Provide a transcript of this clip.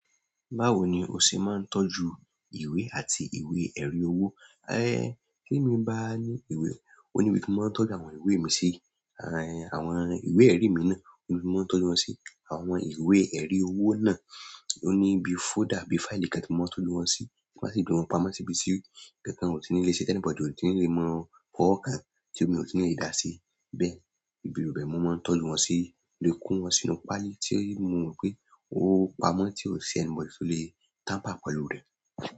Báwo ni o ṣe máa ń tọ́jú ìwé àti ìwé-ẹ̀rí owó? Ẹ, kí èmi bá ní ìwé, òun ni ibi tí mo máa ń tọ́jú àwọn ìwé mi sí. Àwọn ìwé-ẹ̀rí mi náà, òun ni mo máa ń tọ́jú wọn sí. Àwọn ìwé-ẹ̀rí owó náà, òun ni bi folder, bi file kan tí mo máa ń tọ́lù wọn sí. Mo máa sì gbé wọn pamọ́ síbi tí kankan ò tí ní lè ṣe, anybody ò tí ní lè mọ fọwọ kàn tí omi ò tí ní lè dà sí. Bẹ́ẹ̀, ibi ìrú bẹ́ẹ̀ mo máa ń tọ́jù wọn sí, mo lè ko wọn sínú páálí tí mo wí pé ó pamọ́ tí ó ṣe anybody tó lè tàmpà pẹ̀lú rẹ̀.